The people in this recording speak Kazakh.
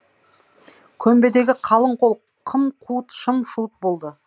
көмбедегі қалың қол қым қуыт шым шуыт болды